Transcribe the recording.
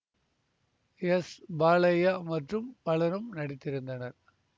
S Balaiah மற்றும் பலரும் நடித்திருந்தனர்